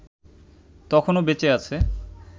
তখনো বেঁচে আছে